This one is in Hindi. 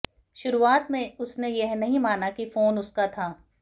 शुरुआत में उसने यह नहीं माना कि फोन उसका था